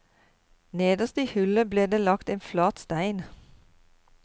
Nederst i hullet ble det lagt en flat stein.